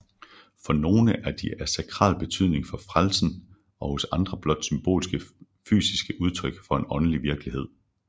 For nogle er de af sakral betydning for frelsen og hos andre blot symbolske fysiske udtryk for en åndelig virkelighed